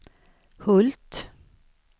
Hult